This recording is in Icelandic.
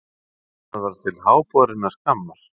Það var til háborinnar skammar.